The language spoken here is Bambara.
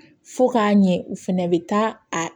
Fo k'a ɲɛ u fɛnɛ bɛ taa a